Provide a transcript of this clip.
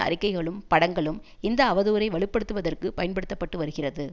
அறிக்கைகளும் படங்களும் இந்த அவதூறை வலு படுத்துவதற்கு பயன்படுத்தப்பட்டுவருகிறது